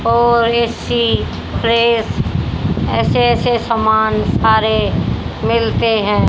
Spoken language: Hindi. और ए_सी फ्रिज ऐसे ऐसे सामान सारे मिलते हैं।